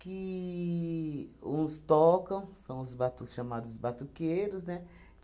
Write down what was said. que uns tocam, são os batu chamados batuqueiros, né?